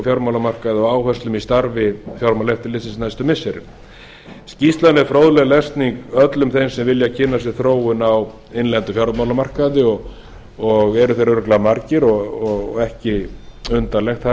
fjármálamarkaði og áherslum í starfi fjármálaeftirlitsins á næstu missirum skýrslan er fróðleg lesning öllum þeim sem vilja kynna sér þróun á innlendum fjármálamarkaði og eru þeir örugglega margir og ekki undarlegt